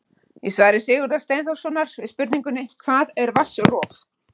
Í svari Sigurðar Steinþórssonar við spurningunni Hvað er vatnsrof?